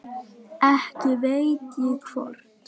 Ekki veit ég hvort